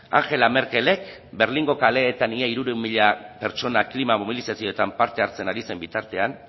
angela merkelek berlingo kaleetan ia hirurehun mila pertsona klima mobilizazioetan parte hartzen ari zen bitartean